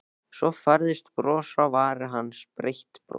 Svo færðist bros fram á varir hans, breitt bros.